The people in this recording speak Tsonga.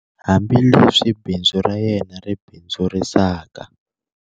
Hambileswi bindzu ra yena ri bindzurisaka